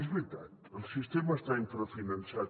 és veritat el sistema està infrafinançat